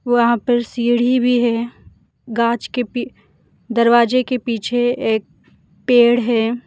वहां पे सीढ़ी भी है गांच के पे दरवाजे के पीछे एक पेड़ है।